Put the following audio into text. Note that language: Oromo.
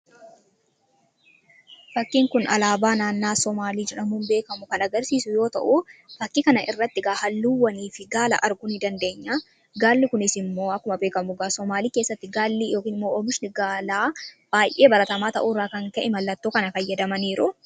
Fakkiin kun Alabaa naannoo Sumalee kan agarsisuu yoo ta'u, fakki kana irratti egaa haalluuwwanifi Gaala arguu ni daneenya. Gaalli kunis akkuma beekamu Sumalee keessatti baay'ee baratama ta'u irran kan ka'e mallatoo kana faayadamaniruu.